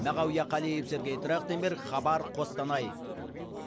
мағауия қалиев сергей трахтенберг хабар қостанай